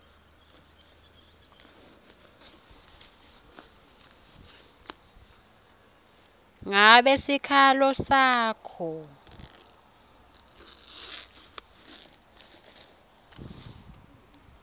ngabe sikhalo sakho